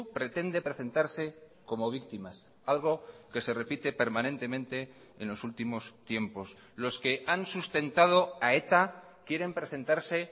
pretende presentarse como víctimas algo que se repite permanentemente en los últimos tiempos los que han sustentado a eta quieren presentarse